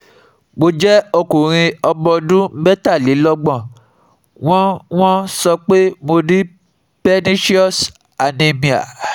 Mo jẹ́ okunrin ọmọ ọdún metalelogbon, wọ́n wọ́n so pe mo ní pernecious anemia